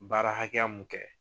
Baara hakɛya mun kɛ